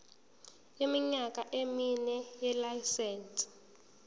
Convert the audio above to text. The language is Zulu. iminyaka emine yelayisense